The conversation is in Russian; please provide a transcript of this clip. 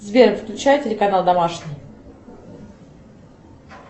сбер включай телеканал домашний